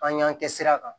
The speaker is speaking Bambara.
An y'an kɛ sira kan